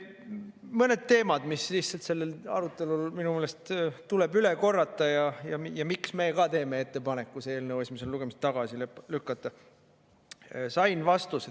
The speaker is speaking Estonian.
Mõned teemad, mis sellel arutelul minu meelest tuleb üle korrata ja miks me ka teeme ettepaneku see eelnõu esimesel lugemisel tagasi lükata.